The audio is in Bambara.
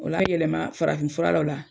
O l'a yɛlɛma farafin fura la o la